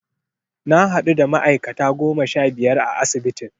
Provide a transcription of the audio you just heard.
Na hadu da ma'aikata goma sha biyar a asibitin.